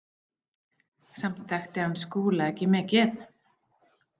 Samt þekkti hann Skúla ekki mikið.